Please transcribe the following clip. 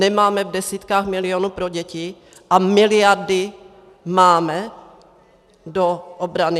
Nemáme v desítkách milionů pro děti a miliardy máme do obrany?